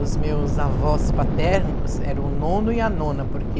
Os meus avós paternos eram o nono e a nona, porque...